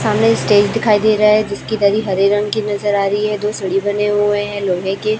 सामने स्टेज दिखाई दे रहा है जिसकी दरी हरे रंग की नजर आ रही है दो सीढ़ी बने हुए हैं लोहे के।